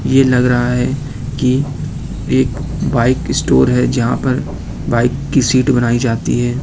ये लग रहा है कि एक बाइक स्टोर है जहां पर बाइक की सीट बनाई जाती है।